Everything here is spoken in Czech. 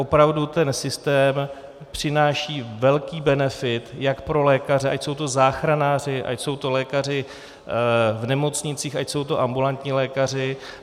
Opravdu ten systém přináší velký benefit jak pro lékaře, ať jsou to záchranáři, ať jsou to lékaři v nemocnicích, ať jsou to ambulantní lékaři.